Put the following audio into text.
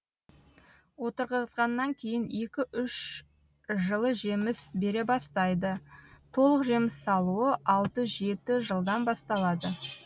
отырғызғаннан кейін екі үш жылы жеміс бере бастайды толық жеміс салуы алты жетә жылдан басталады